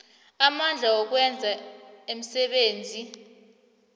amandla wokwenza umsebenzi